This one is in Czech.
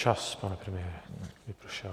Čas, pane premiére, vypršel.